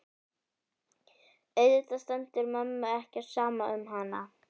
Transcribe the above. Auðvitað stendur mömmu ekki á sama um hana.